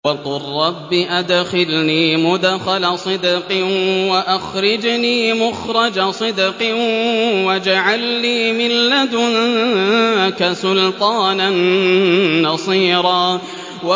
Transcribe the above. وَقُل رَّبِّ أَدْخِلْنِي مُدْخَلَ صِدْقٍ وَأَخْرِجْنِي مُخْرَجَ صِدْقٍ وَاجْعَل لِّي مِن لَّدُنكَ سُلْطَانًا نَّصِيرًا